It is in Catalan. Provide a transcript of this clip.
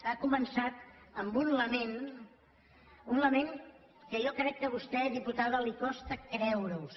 ha començat amb un lament un lament que jo crec que a vostè diputada li costa creure se’l